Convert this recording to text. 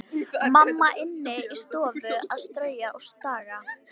Mamma inni í stofu að strauja og staga.